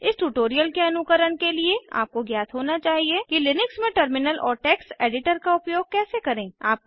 इस ट्यूटोरियल के अनुकरण के लिए आपको ज्ञात होना चाहिए कि लिनक्स में टर्मिनल और टेक्स्ट एडिटर का उपयोग कैसे करें160